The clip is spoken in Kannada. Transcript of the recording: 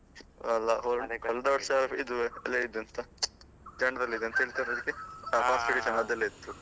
ಅಲ್ಲ ಒಳ್ಳೆ ಕಳ್ದ ವರ್ಷ ಇದು, ಎಂತ general ಇದು ಎಂತ ಹೇಳ್ತಾರೆ ಅದ್ಕೆ? ಅದೆಲ್ಲ ಇತ್ತು.